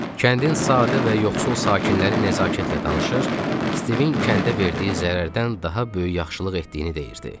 Kəndin sadə və yoxsul sakinləri nəzakətlə danışır, Stivin kəndə verdiyi zərərdən daha böyük yaxşılıq etdiyini deyirdi.